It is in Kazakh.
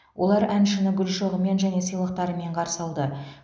олар әншіні гүл шоғымен және сыйлықтарымен қарсы алды